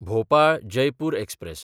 भोपाळ–जयपूर express